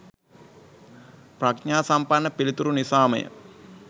ප්‍රඥා සම්පන්න පිළිතුරු නිසා ම ය.